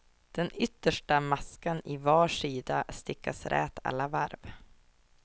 Den yttersta maskan i var sida stickas rät alla varv.